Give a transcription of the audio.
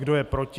Kdo je proti?